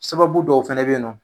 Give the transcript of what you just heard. Sababu dɔw fɛnɛ be yen nɔ.